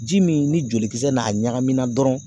Ji min ni jolikisɛ n'a ɲagamina dɔrɔn